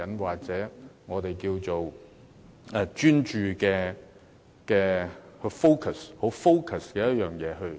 或者我們稱之為比較專注，很 focus 的發展。